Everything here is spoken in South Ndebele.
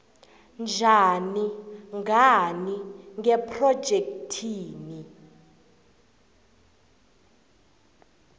njani ngani ngephrojekhthi